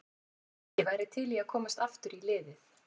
Ég væri til í að komast aftur í liðið.